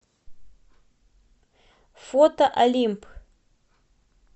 фото олимп